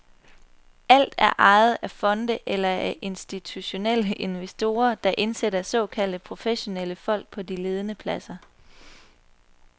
Alt er ejet af fonde eller af institutionelle investorer, der indsætter såkaldte professionelle folk på de ledende pladser.